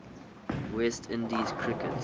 west indies cricket